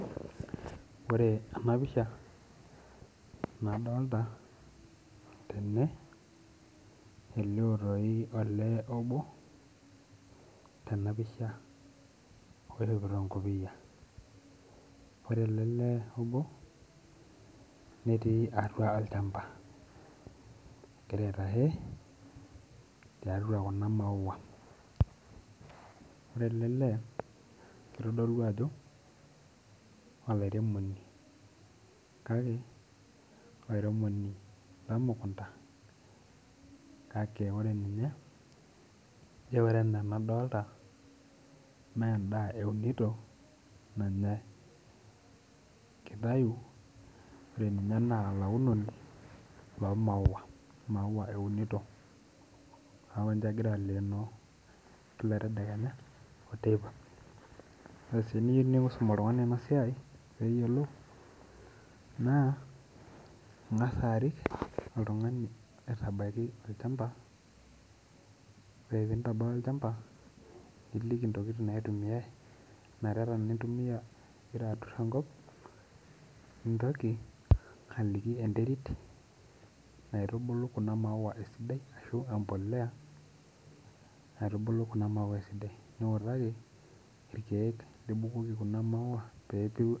Ore ena pisha nadolta tene elio toi olee obo tena pisha oishopitoo enkopiyia ore ele lee obo netii atua olchamba egira aitahe tiatua kuna maua ore ele lee kitodolu ajo olairemoni kake olairemoni lemukunta kake ore ninye ijo ore enaa enadolta mendaa eunito nanyae kitayu ore ninye naa olaunoni lomaua imaua eunito niaku ninche egira alenoo kila tedekenya oteipa ore sii eniyieu niisum oltung'ani ena siai peyiolou naa ing'as arik oltung'ani aitabaiki olchamba ore pintabaya olchamba niliki intokiting naitumiae inareta nintumia ingira aturr enkop nintoki aliki enterit naitubulu kuna maua esidai ashu empoleya naitubulu kuna maua esidai niutaki irkeek libukoki kuna maua peepiru.